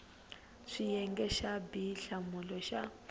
xiyenge xa b hlamula xa